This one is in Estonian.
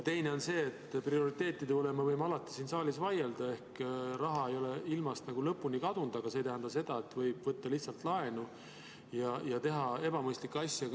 Teiseks, prioriteetide üle me võime alati siin saalis vaielda, raha ei ole ilmast lõpuni kadunud, aga see ei tähenda, et võib võtta lihtsalt laenu ja teha ebamõistlikke asju.